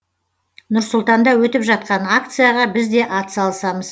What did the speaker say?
нұр сұлтанда өтіп жатқан акцияға біз де атсалысамыз